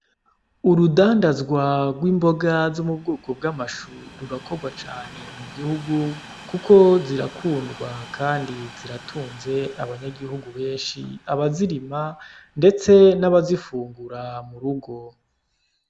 Urudandazwa rw'imboga zo mu bwoko bw'amashu rurakorwa cane mu gihugu , kuko zirakundwa kandi ziratunze abanyagihugu benshi , abazirima ndetse n'abazifungura mu rugo.